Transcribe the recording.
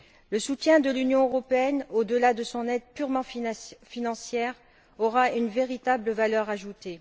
Le soutien de l'Union européenne, au delà de son aide purement financière, aura une véritable valeur ajoutée.